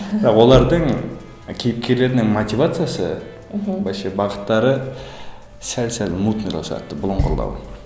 бірақ олардың кейіпкерлерінің мотивациясы мхм вообще бағыттары сәл сәл мутныйлау сияқты бұлыңғырлау